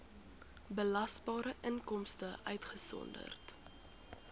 belasbare inkomste uitgesonderd